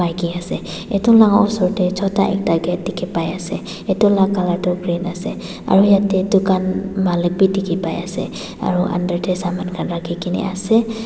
Ke ase etu la usor te chota ekta k tekhe pai ase etu la colour tu green ase aro yate tugan malik beh dekhe pai ase aro under te saman khan rakhe kena ase--